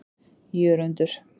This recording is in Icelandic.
Jörundur